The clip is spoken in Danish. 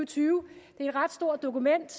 tyve det er et ret stort dokument